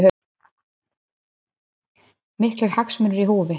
Miklir hagsmunir í húfi